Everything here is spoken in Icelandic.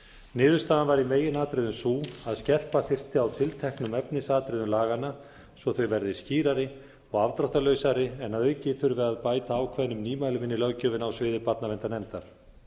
niðurstaðan var í meginatriðum sú að skerpa þyrfti á tilteknum efnisatriðum laganna svo þau verði skýrari og afdráttarlausari en að auki þurfi að bæta ákveðnum nýmælum inn í löggjöfina á sviði barnaverndarnefndar